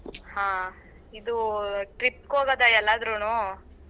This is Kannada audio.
ಹಾ. ಇದೂ trip ಹೋಗೋದಾ ಎಲ್ಲಾದ್ರೂನೂ?